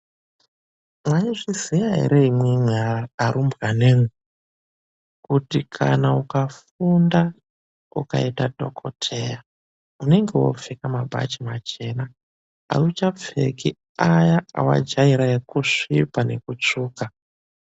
MWAIZVIZIYA ERE IMWIMWI ARUMBWANA IMWI KUTI KANA UKAFUNDA UKAITA DHOKOKEYA UNENGE WOOPFEKA MABACHI MACHENA. AUCHAPFEKI AYA AWAJAIRA EKUSVIPA NEKUTSVUKA.